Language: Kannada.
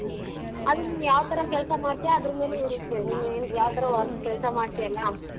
ಅದು ನೀನ್ ಯಾವ್ ತರ ಕೆಲ್ಸ ಮಾಡ್ತಿಯ ಅದ್ರ್ ಮೇಲೆ ಇರತ್ತೆ ನೀನ್ ಯಾವ್ ತರ work ಕೆಲ್ಸ ಮಾಡ್ತಿಯಲ್ಲ.